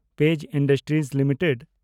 page Industries limited